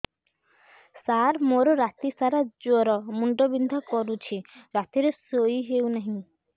ସାର ମୋର ରାତି ସାରା ଜ୍ଵର ମୁଣ୍ଡ ବିନ୍ଧା କରୁଛି ରାତିରେ ଶୋଇ ହେଉ ନାହିଁ